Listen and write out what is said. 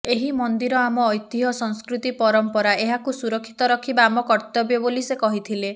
ଏହି ମନ୍ଦିର ଆମ ଐତିହ ସଂସ୍କୃତି ପରମ୍ପରା ଏହାକୁ ସୁରକ୍ଷିତ ରଖିବା ଆମ କର୍ତ୍ତବ୍ୟ ବୋଲି ସେ କହିଥିଲେ